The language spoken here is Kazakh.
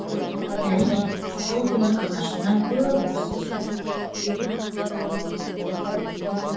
әрине сол күні анашымнан көп ұрыс естідім